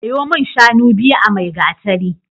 Sayo min shanu biyu a Maigatari.